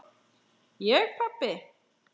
Ég pabbi!